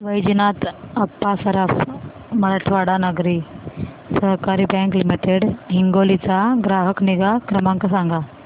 वैजनाथ अप्पा सराफ मराठवाडा नागरी सहकारी bank limited Hingoli चा ग्राहक निगा क्रमांक सांगा